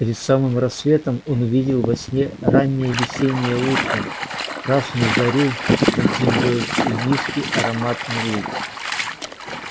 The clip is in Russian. перед самым рассветом он увидел во сне раннее весеннее утро красную зарю над землёй и низкий ароматный луг